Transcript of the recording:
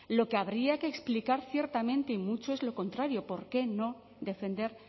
lo que habría que explicar ciertamente y mucho es lo contrario por qué no defender